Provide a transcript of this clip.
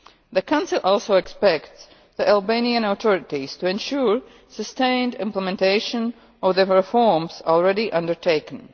The Council also expects the Albanian authorities to ensure sustained implementation of the reforms already undertaken.